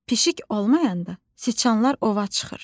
Pişik olmayanda siçanlar ova çıxır.